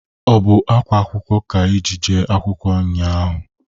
Ọ bụ akwa akwụkwọ ka i ji jee akwụkwọ nnya ahụ?